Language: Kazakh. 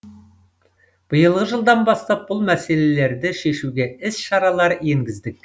биылғы жылдан бастап бұл мәселелерді шешуге іс шаралар енгіздік